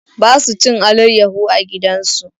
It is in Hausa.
Ba su cin alayyaho a gidan su.